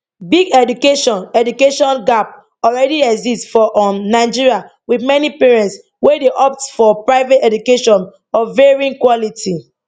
big education education gap already exists for um nigeria with many parents wey dey opt for private education of varying quality